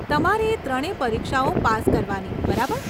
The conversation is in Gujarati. તમારે એ ત્રણે પરીક્ષાઓ પાસ કરવાની, બરાબર?